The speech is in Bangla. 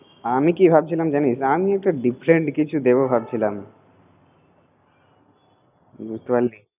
আমি কি ভাবছিলাম জিনিস আমি একটা different কিছু দিবো ভাবছিলাম বুঝতে পারছিস